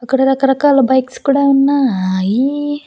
ఇక్కడ రకరకాల బైక్స్ కూడా ఉన్నాయి.